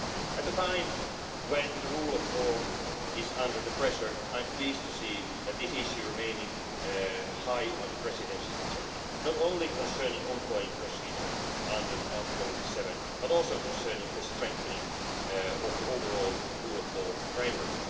At a time when the rule of law is under pressure, I'm pleased to see this issue remains high on the Presidency's agenda, not only concerning the ongoing procedure under Article 7, but also concerning the strengthening of the overall rule of law framework.